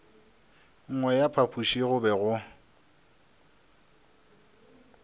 nngwe ya phapoši go be